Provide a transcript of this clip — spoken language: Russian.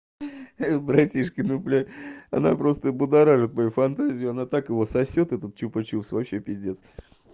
братишка ну бля она просто будоражит мою фантазию она так его сосёт этот чупа чупс вообще пиздец